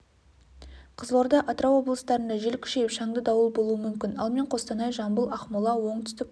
қызылорда атырау облыстарында жел күшейіп шаңды дауыл болуы мүмкін ал мен қостанай жамбыл ақмола оңтүстік